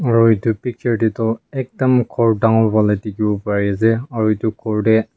Aro etu picture dae tuh ekta dangor wala dekhevole parey ase aro etu ghor dae--